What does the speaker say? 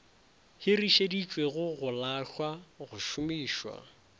hirišeditšwego go lahlwa go šomišwa